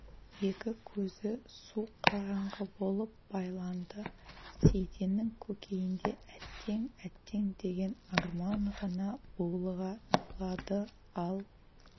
екі көзі су қараңғы болып байланды сейтеннің көкейінде әттең әттең деген арман ғана булыға тулады ал